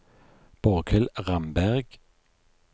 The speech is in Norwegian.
Borghild Ramberg